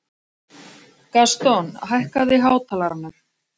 Gaston, hækkaðu í hátalaranum.